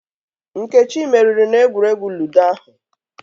Nkechị meriri n'egwuregwu Ludo ahu